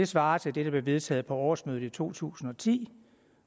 svarer til det der blev vedtaget på årsmødet i to tusind og ti